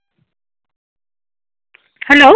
hello